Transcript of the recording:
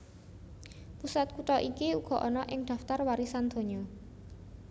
Pusat kutha iki uga ana ing daftar warisan donya